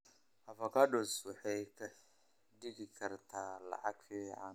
Avocados waxay kaa dhigi kartaa lacag fiican.